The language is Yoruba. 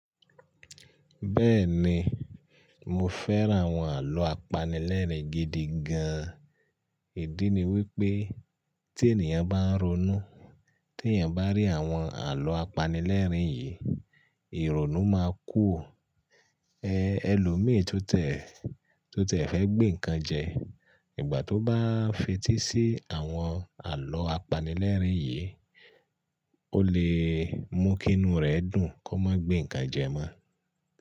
Bẹ́ẹ̀ni, mo fẹ́ràn àwọn àlọ́ apanilẹ́rìn gidi gan. Ìdí ni wípé tí ènìyàn bá ń ronú, tí èyàn bá rí àwọn àlọ́ apanilẹ́rìn yìí, ìrònú máa kùrò. Ẹ̀ ẹlòmíì tó tẹ̀ tó tẹ̀ fẹ́ gbé nǹkan jẹ, ìgbà tó bá fetí sí àwọn àlọ́ apanilẹ́rìn yìí, ó lè mú kí inú rẹ̀ dùn kó má gbé nǹkan jẹ mọ́